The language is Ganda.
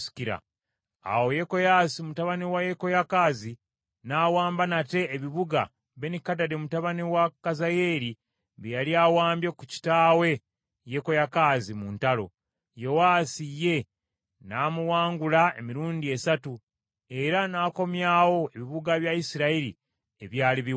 Awo Yekoyaasi mutabani wa Yekoyakaazi n’awamba nate ebibuga Benikadadi mutabani wa Kazayeeri bye yali awambye ku kitaawe Yekoyakaazi mu ntalo. Yowaasi ye n’amuwangula emirundi esatu, era n’akomyawo ebibuga bya Isirayiri ebyali biwambiddwa.